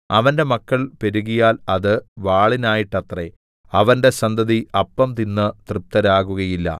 അവന്റെ മക്കൾ പെരുകിയാൽ അത് വാളിനായിട്ടത്രേ അവന്റെ സന്തതി അപ്പം തിന്ന് തൃപ്തരാകുകയില്ല